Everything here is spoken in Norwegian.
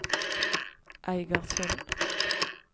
Eigersund